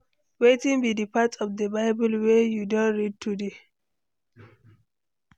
Wetin be di part of di Bible wey you don read today?